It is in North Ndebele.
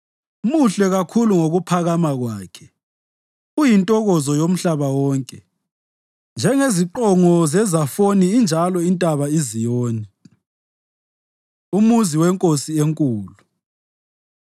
Muhle kakhulu ngokuphakama kwakhe, uyintokozo yomhlaba wonke. Njengeziqongo zeZafoni injalo intaba iZiyoni, umuzi weNkosi eNkulu.